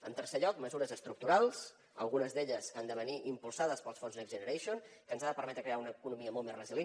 en tercer lloc mesures estructurals algunes d’elles que han de venir impulsades pels fons next generation que ens han de permetre crear una economia molt més resilient